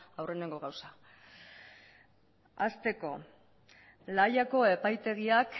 aurreneko gauza hasteko la hayako epaitegiak